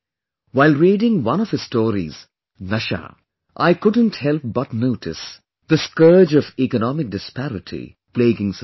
While reading one of his stories 'Nashaa', I couldn't help but notice the scourge of economic disparity plaguing society